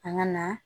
An ka na